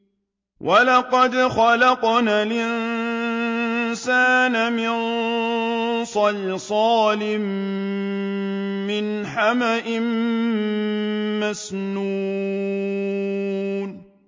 وَلَقَدْ خَلَقْنَا الْإِنسَانَ مِن صَلْصَالٍ مِّنْ حَمَإٍ مَّسْنُونٍ